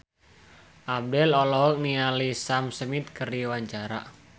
Abdel olohok ningali Sam Smith keur diwawancara